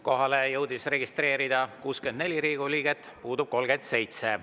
Kohalolijaks jõudis registreeruda 64 Riigikogu liiget, puudub 37.